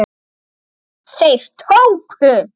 Þeir tóku